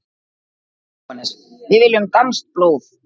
JÓHANNES: Við viljum danskt blóð!